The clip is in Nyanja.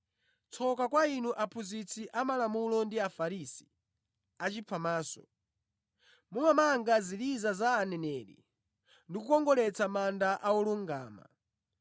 “Tsoka kwa inu, aphunzitsi amalamulo ndi Afarisi, achiphamaso! Mumamanga ziliza za aneneri ndi kukongoletsa manda a olungama.